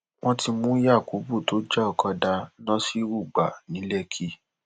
wọn ti mú yakubu tó já ọkadà nasiru gbà ní lẹkì